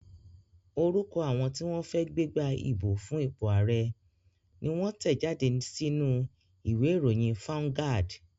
Orúkọ àwọn tí wọ́n fẹ́ gbégbá ìbò fún ipò ààrẹ́ ni wón tẹ̀ jáde sínú u ìwé ìròyìn fáuńgádì